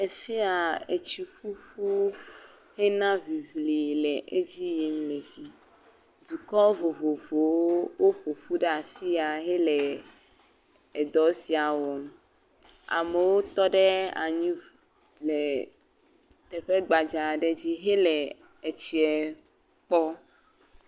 Efi ya hena ŋiŋli le edzi yim le fi, dɔkɔ vovovowo woƒoƒu ɖe afi ya hele edɔ sia wɔm. Amewo tɔ ɖe anyi le teƒe gbadza aɖe dzi hele etsie kpɔm.